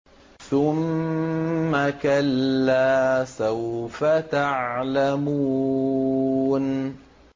ثُمَّ كَلَّا سَوْفَ تَعْلَمُونَ